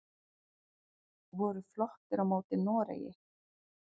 Voru flottir á móti noreg!